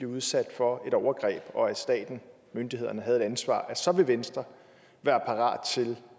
udsat for et overgreb og at staten myndighederne havde et ansvar så vil venstre være parat til